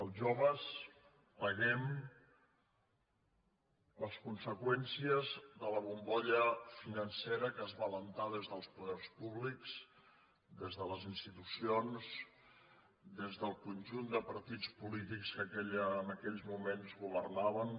els joves paguem les conseqüències de la bombolla financera que es va alentar des dels poders públics des de les institucions des del conjunt de partits polítics que en aquells moments governaven